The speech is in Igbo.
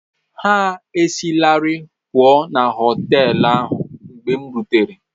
Ha esilarị pụọ na họtel ahụ mgbe m rutere.